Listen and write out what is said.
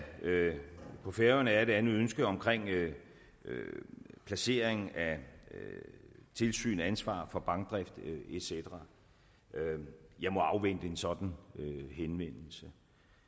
på færøerne er et andet ønske om placering af tilsyn ansvar for bankdrift et cetera jeg må afvente en sådan henvendelse